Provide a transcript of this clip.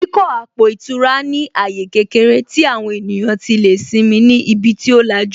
Ìdíkọ̀ àpò ìtura ní àyè kékeré tí àwọn ènìyàn tí lè simi ni ibi tí ó lajú